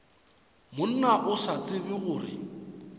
monna o sa tsebe gore